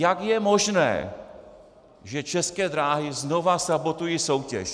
Jak je možné, že České dráhy znovu sabotují soutěž?